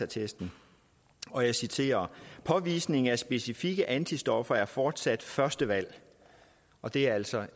testen og jeg citerer påvisning af specifikke antistoffer er fortsat første valg og det er altså